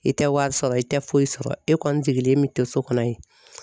I tɛ wari sɔrɔ i tɛ foyi sɔrɔ e kɔni sigilen bɛ to so kɔnɔ yen.